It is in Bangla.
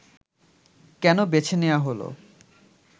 কেন বেছে নেয়া হলো